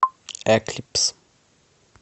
эклипс